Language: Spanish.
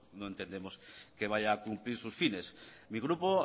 no entendemos que vaya a cumplir sus fines mi grupo